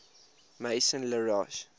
maison la roche